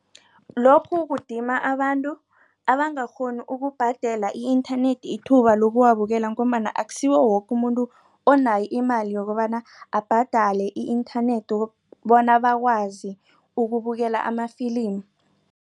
Lokhu kudima abantu abangakghoni ukubhadele i-internet ithuba lokuwabukela ngombana akusiwo woke umuntu onayo imali yokobana abhadale i-internet bona bakwazi ukubukela amafilimi.